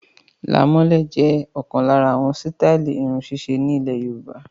Làmọ́lẹ̀ jẹ ọkan lára àwọn sítai irun sise nilẹ Yorùbá